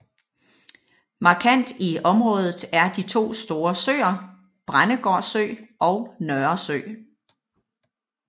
Markant i området er de to store søer Brændegård Sø og Nørresø